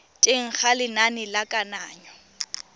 teng ga lenane la kananyo